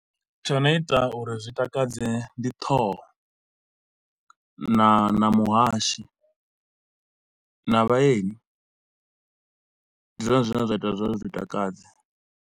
Tsho no ita uri zwi takadze ndi ṱhoho na na muhashi, na vhaeni ndi zwone zwine zwa ita zwa uri zwi takadze.